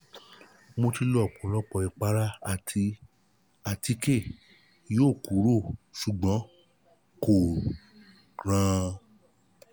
mo ti lo ọpọ̀lọpọ̀ ìpara àti àtíkè yọ ọ́ kúrò ṣùgbọ́n kò ràn-án